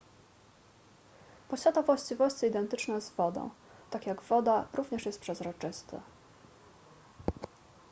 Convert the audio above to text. posiada właściwości identyczne z wodą tak jak woda również jest przezroczysty